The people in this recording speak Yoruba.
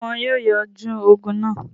Ṣé wọn yóò yanjú ogun náà?